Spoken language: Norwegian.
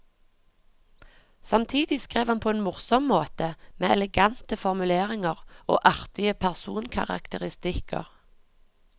Samtidig skrev han på en morsom måte, med elegante formuleringer og artige personkarakteristikker.